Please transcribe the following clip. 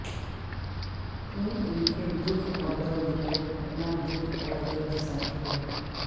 تم ان کے دکھ اور درد کو اپنا دکھ اور درد سمجھتے ہو